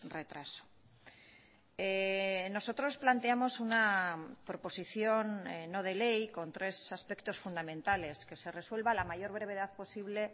retraso nosotros planteamos una proposición no de ley con tres aspectos fundamentales que se resuelva a la mayor brevedad posible